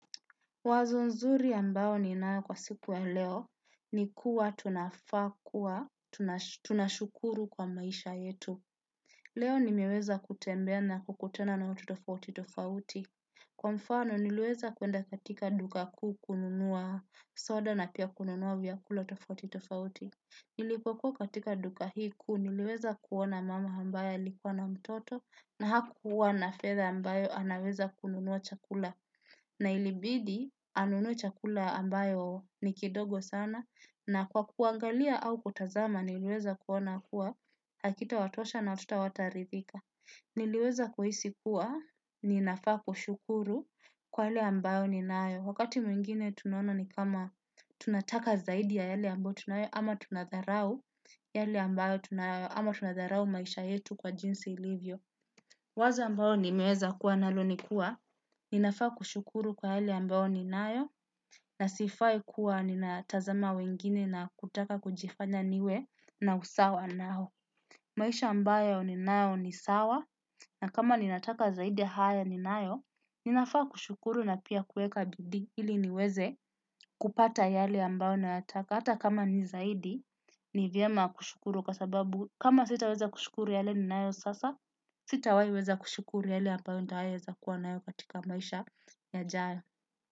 Wazo nzuri ambao ninao kwa siku ya leo ni kuwa tunafaa kua tunashukuru kwa maisha yetu. Leo nimeweza kutembea na kukutana na watu tofauti tofauti. Kwa mfano nilweza kuenda katika duka kuu kununua soda na pia kununua vyakula tofauti tofauti. Nilipokua katika duka hii kuu niliweza kuona mama ambaye alikuwa na mtoto na hakuwa na fedha ambayo anaweza kununua chakula. Na ilibidi anunue chakula ambayo ni kidogo sana na kwa kuangalia au kutazama niliweza kuona kuwa hakita watosha na watoto hawatarithika. Niliweza kuhisi kuwa ni nafaa kushukuru kwa yale ambayo ni naayo. Wakati mwingine tunona ni kama tunataka zaidi ya yale ambayo tunayo ama tunadharau yale ambayo tunayo ama tunadharau maisha yetu kwa jinsi ilivyo. Waza ambayo nimeweza kuwa nalo nikuwa, ninafaa kushukuru kwa hali ambayo ni nayo, na sifai kuwa nina tazama wengine na kutaka kujifanya niwe na usawa nao. Maisha ambayo ni nayo ni sawa, na kama ninataka zaidi ya haya ni nayo, ninafaa kushukuru na pia kueka bidii ili niweze kupata yale ambayo nayataka. Hata kama ni zaidi, ni vyema kushukuru kasababu kama sita weza kushukuru yale ni nayo sasa, sita wahi weza kushukuru yale ambayo nitawaieza kuwa nayo katika mwaisha yajayo.